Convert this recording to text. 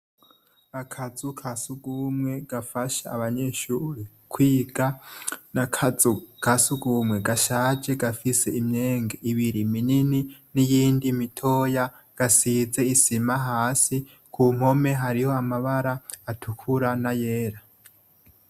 Akazu kasugumwe, gafasha abanyeshure kwiga, n'akazu kasugumwe gashaje gafise imyenge ibiti minini niyindi mitoya gasize isima hasi, kumpome harih'amabara atukura na yera.